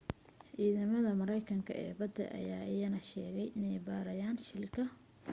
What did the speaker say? ciidamada maraykanka ee badda ayaa iyana sheegay inay baadhayaan shilka